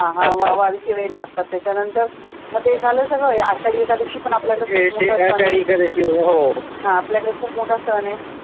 हा हा वारीचे वेड लागतात, त्याच्यानंतर म ते झालं सगळं, आषाढी एकादशी पण आपल्याकडे खूप मोठा सण आहे